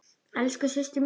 Elsku systir mín.